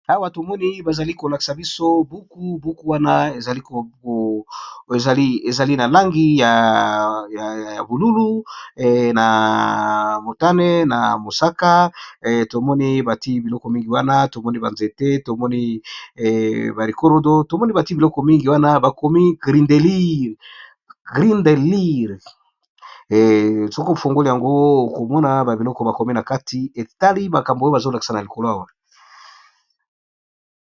Awa tomoni bazali kolakisa biso buku buku wana ezali na langi ya bolulu na motane na mosaka tomoni bati biloko mingi wana tomoni banzete tomoni ba rikorodo tomoni bati biloko mingi wana bakomi grindelire soko fungoli yango okomona ba biloko bakomi na kati etali makambo oyo bazolakisa na likolo awa.